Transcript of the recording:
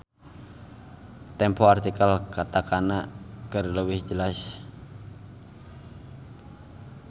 Tempo artikel katakana keur leuwih jelas.